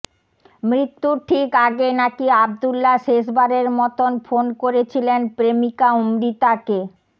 মৃত্যুর ঠিক আগে নাকি আবদুল্লা শেষবারের মতোন ফোন করেছিলেন প্রেমিকা অমৃতাকে